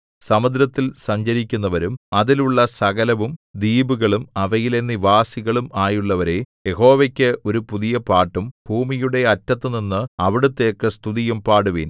സമുദ്രത്തിൽ സഞ്ചരിക്കുന്നവരും അതിൽ ഉള്ള സകലവും ദ്വീപുകളും അവയിലെ നിവാസികളും ആയുള്ളവരേ യഹോവയ്ക്ക് ഒരു പുതിയ പാട്ടും ഭൂമിയുടെ അറ്റത്തുനിന്ന് അവിടുത്തേക്ക് സ്തുതിയും പാടുവിൻ